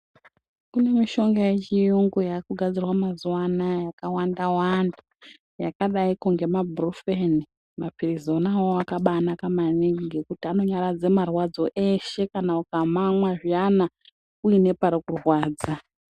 Kune mishonga yechirungu yakugadzirwa mazuva anawa yakawanda Wanda yakadai nemabruffen mapirizi ona awawo akanaka maningi ngekuti anonyaradza marwadzo eshe kana ukamwa zviyani uine pari kurwadza.